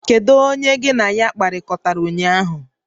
Kedu onye ka gị na ya kpakọrịtara ụnyaahụ?